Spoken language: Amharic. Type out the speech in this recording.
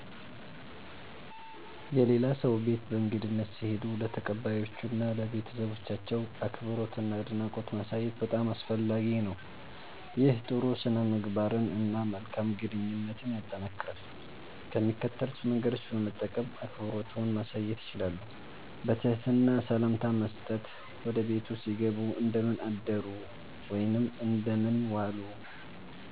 የሌላ ሰው ቤት በእንግድነት ሲሄዱ ለተቀባዮቹ እና ለቤተሰባቸው አክብሮትና አድናቆት ማሳየት በጣም አስፈላጊ ነው። ይህ ጥሩ ሥነ-ምግባርን እና መልካም ግንኙነትን ያጠናክራል። ከሚከተሉት መንገዶች በመጠቀም አክብሮትዎን ማሳየት ይችላሉ፦ በትህትና ሰላምታ መስጠት – ወደ ቤቱ ሲገቡ “እንደምን አደሩ/ዋሉ”